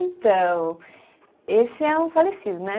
Então, esse é um falecido, né?